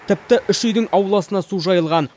тіпті үш үйдің ауласына су жайылған